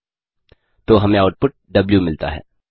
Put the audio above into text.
तो हमें आउटपुट द्व मिलता है